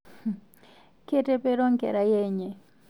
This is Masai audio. Ketepero nkerai enye